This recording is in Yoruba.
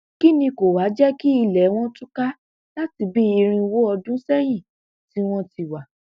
kín ni kó wàá jẹ kí ilé tiwọn túká láti bíi irínwó ọdún sẹyìn tí wọn ti wá